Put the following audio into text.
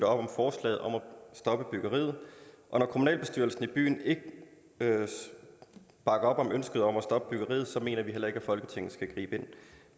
om forslaget om at stoppe byggeriet og når kommunalbestyrelsen i byen ikke bakker op om ønsket om at stoppe byggeriet mener vi heller ikke at folketinget skal gribe ind